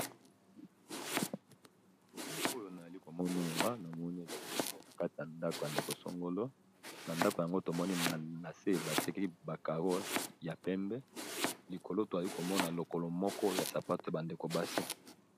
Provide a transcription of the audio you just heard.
ebili oyo na eli komonora na moni eza libongo na kati ya ndako ya ndekosongolo na ndako yango tomoni na se batiki ba caro ya pembe likolo to ali komona lokolo moko ya sapato y bandeko basi